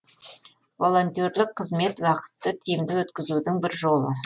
волонтерлік қызмет уақытты тиімді өткізудің бір жолы